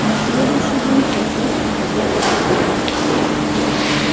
на следующий день процесс проходил по-другому